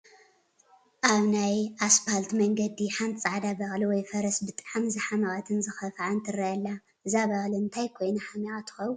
ኣብ ናይ ኣስፖልት መንገዲ ሓንቲ ፃዕዳ በቕሊ ወይ ፈረስ ብጣዕሚ ዝሓመቐትን ዝኸፋኣን ትረአ ኣላ፡፡ እዛ በቕሊ እንታይ ኮይና ሓሚቓ ትኸውን?